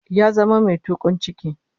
Ya zama mai tukun ciki